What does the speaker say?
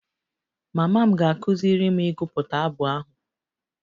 Mama m ga-akụziri m ịgụpụta abụ ahụ